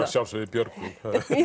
að sjálfsögðu í Björgvin